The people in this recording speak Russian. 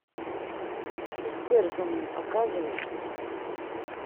истерзанный показывай